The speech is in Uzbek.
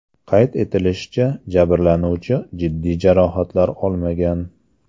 Qayd etilishicha, jabrlanuvchi jiddiy jarohatlar olmagan.